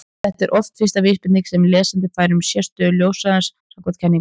þetta er oft fyrsta vísbendingin sem lesandi fær um sérstöðu ljóshraðans samkvæmt kenningunni